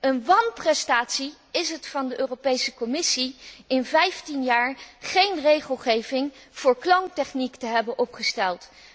Een wanprestatie is het van de Europese Commissie in 15 jaar geen regelgeving voor kloontechniek te hebben opgesteld.